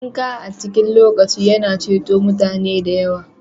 Dinka a cikin lokaci yana ceton mutane da yawa